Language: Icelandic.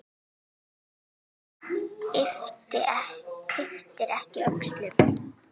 Maður ypptir ekki öxlum.